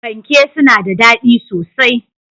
Fanke suna da daɗi sosai.